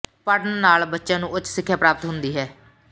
ਪੜ੍ਹਨ ਨਾਲ ਬੱਚਿਆਂ ਨੂੰ ਉੱਚ ਸਿੱਖਿਆ ਪ੍ਰਾਪਤ ਹੁੰਦੀ ਹੈ